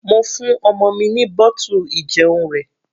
Mo fún ọmọ mi ní bottle ìjẹun rẹ̀.